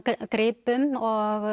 gripum og